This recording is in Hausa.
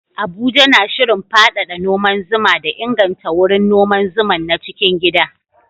Abuja na shirin faɗaɗa noman zuma da inganta wurin noman zuman na cikin gida